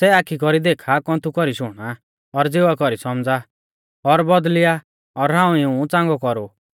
सै आखी कौरी देखा कौन्थु कौरी शुणा और ज़िवा कौरी सौमझ़ा और बौदल़िया और हाऊं इऊं च़ांगौ कौरु